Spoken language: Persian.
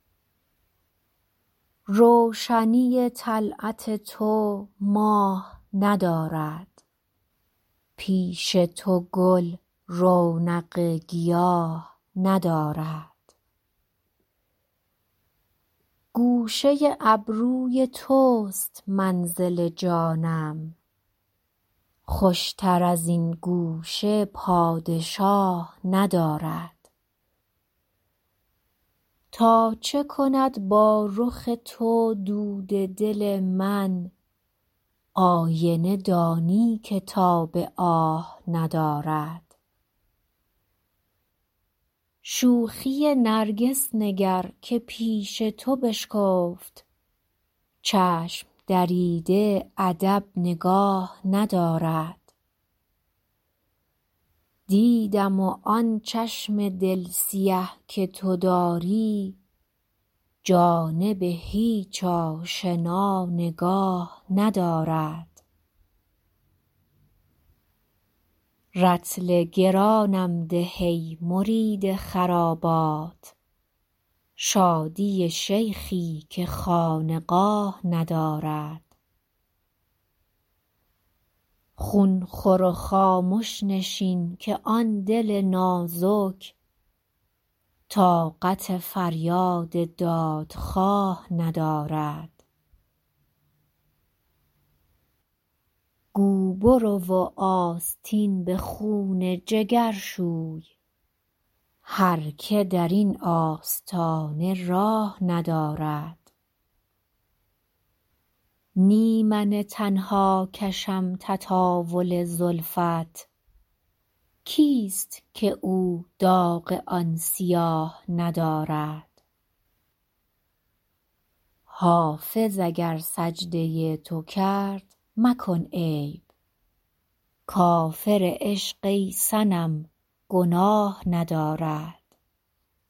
روشنی طلعت تو ماه ندارد پیش تو گل رونق گیاه ندارد گوشه ابروی توست منزل جانم خوشتر از این گوشه پادشاه ندارد تا چه کند با رخ تو دود دل من آینه دانی که تاب آه ندارد شوخی نرگس نگر که پیش تو بشکفت چشم دریده ادب نگاه ندارد دیدم و آن چشم دل سیه که تو داری جانب هیچ آشنا نگاه ندارد رطل گرانم ده ای مرید خرابات شادی شیخی که خانقاه ندارد خون خور و خامش نشین که آن دل نازک طاقت فریاد دادخواه ندارد گو برو و آستین به خون جگر شوی هر که در این آستانه راه ندارد نی من تنها کشم تطاول زلفت کیست که او داغ آن سیاه ندارد حافظ اگر سجده تو کرد مکن عیب کافر عشق ای صنم گناه ندارد